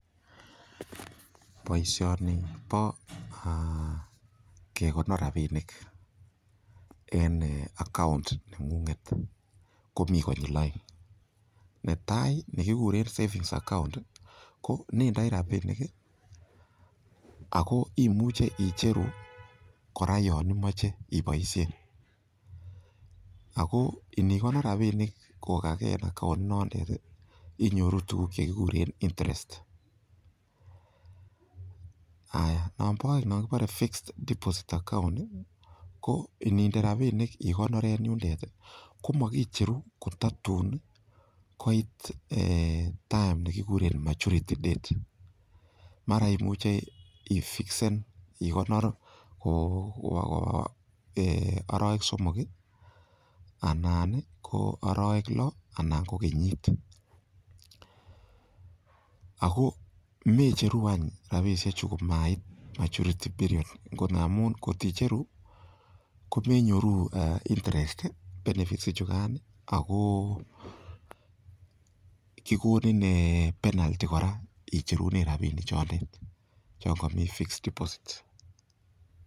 Boisioni bo kegonor rabinik en account neng'ung'et ko mi konyil oeng. Netai ni kiguren savings account ko nendoi rabinik ago imuche icheru kora yon imoche iboishen. Ago inikonor rabinik kogaa ke en account inotet inyoru tuguk che kiguren interest . Nonbo oeng non kibore fixed deposit account ko ininde rabinik igonor en yundet komokicheru kototun koit time ne kiguren maturity date. Mara imuche ifixen ikonor arawek somok, anan ko arawek loo anan ko kenyit. Ago mecheru any rabisheju komait maturity period amun ngot icheru komenyoru interest, benefits ichugan ago kigonin penalty kora icherunen rabinik chotet, chon komi fixed deposit